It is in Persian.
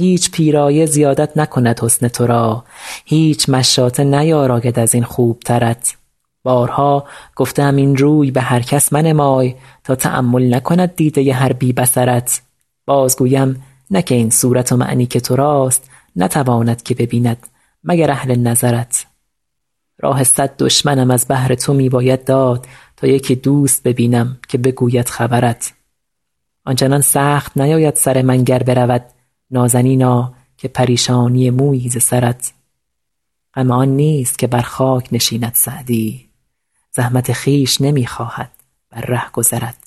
هیچ پیرایه زیادت نکند حسن تو را هیچ مشاطه نیاراید از این خوبترت بارها گفته ام این روی به هر کس منمای تا تأمل نکند دیده هر بی بصرت باز گویم نه که این صورت و معنی که تو راست نتواند که ببیند مگر اهل نظرت راه صد دشمنم از بهر تو می باید داد تا یکی دوست ببینم که بگوید خبرت آن چنان سخت نیاید سر من گر برود نازنینا که پریشانی مویی ز سرت غم آن نیست که بر خاک نشیند سعدی زحمت خویش نمی خواهد بر رهگذرت